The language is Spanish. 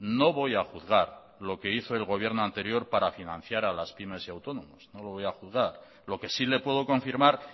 no voy a juzgar lo que hizo el gobierno anterior para financiar a las pymes y autónomos no lo voy a juzgar lo que sí le puedo confirmar